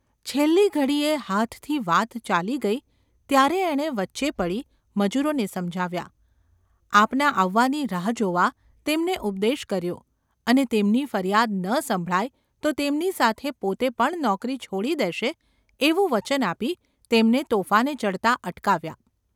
છેલ્લી ઘડીએ હાથથી વાત ચાલી ગઈ ત્યારે એણે વચ્ચે પડી મજૂરોને સમજાવ્યા, આપના આવવાની રાહ જોવા તેમને ઉપદેશ કર્યો અને તેમની ફરિયાદ ન સંભળાય તો તેમની સાથે પોતે પણ નોકરી છોડી દેશે એવું વચન આપી તેમને તોફાને ચડતા અટકાવ્યા.